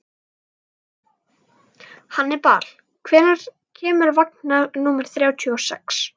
Hannibal, hvenær kemur vagn númer þrjátíu og sex?